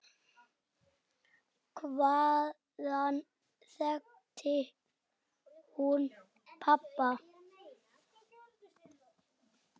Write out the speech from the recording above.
Hvaðan þekkti hún pabba?